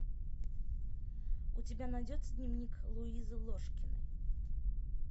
у тебя найдется дневник луизы ложкиной